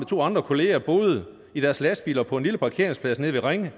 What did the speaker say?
to andre kollegaer boede i deres lastbiler på en lille parkeringsplads nede ved ringe